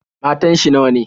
Matan shi nawa?